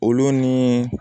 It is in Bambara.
Olu ni